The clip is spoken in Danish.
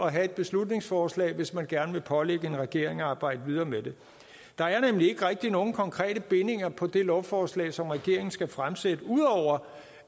at have i et beslutningsforslag hvis man gerne vil pålægge regeringen at arbejde videre med det der er nemlig ikke nogen konkrete bindinger på det lovforslag som regeringen skal fremsætte ud over